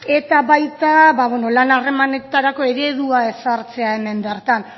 eta baita ba bueno lan harremanetarako eredua ezartzea hemen bertan